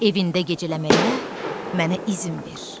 Evində gecələməyə mənə izin ver.